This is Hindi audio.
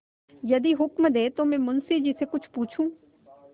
यदि हुक्म दें तो मैं मुंशी जी से कुछ पूछूँ